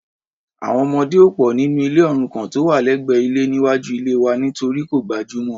Àwọn ọmọdé ò pò nínú ilé òrukàn tó wà lẹ́gbẹ́ ilé níwájú ilée wa nítorí kò gbajúmọ̀.